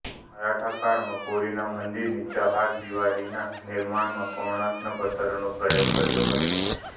મરાઠા કાળમાં પુરીના મંદિરની ચહારદીવારીના નિર્માણમાં કોણાર્કના પત્થરનો પ્રયોગ કર્યો હતો